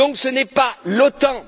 Donc, ce n'est pas l'OTAN.